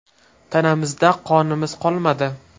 Tanamizda qonimiz qolmadi.